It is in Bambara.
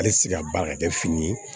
Ale ti se ka baara ka kɛ fini ye